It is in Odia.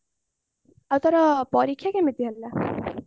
ଆଉ ତାର ପରୀକ୍ଷା କେମିତି ହେଲା